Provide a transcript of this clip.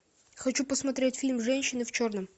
хочу посмотреть фильм женщины в черном